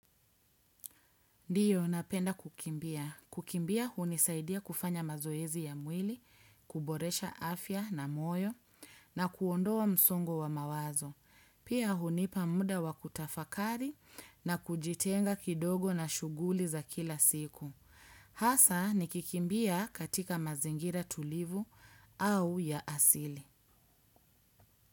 Ndiyo napenda kukimbia. Kukimbia hunisaidia kufanya mazoezi ya mwili, kuboresha afya na moyo na kuondoa msongo wa mawazo. Pia hunipa muda wa kutafakari na kujitenga kidogo na shughuli za kila siku. Hasa nikikimbia katika mazingira tulivu au ya asili.